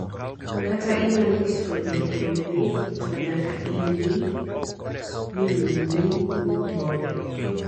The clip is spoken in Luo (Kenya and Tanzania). kata inyalo keto lum e wie to nyaka ingi ni lum ni kumbore